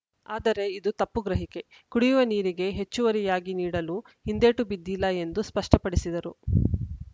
ಆದರೆ ಇದು ತಪ್ಪು ಗ್ರಹಿಕೆ ಕುಡಿಯುವ ನೀರಿಗೆ ಹೆಚ್ಚುವರಿಯಾಗಿ ನೀಡಲು ಹಿಂದೇಟು ಬಿದ್ದಿಲ್ಲ ಎಂದು ಸ್ಪಷ್ಟಪಡಿಸಿದರು